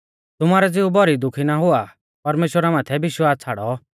तुमारौ ज़िऊ भौरी दुखी ना हुआ परमेश्‍वरा माथै विश्वास छ़ाड़ौ और मुं माथै भी विश्वास छ़ाड़ौ